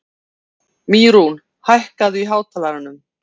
Mýrún, hækkaðu í hátalaranum.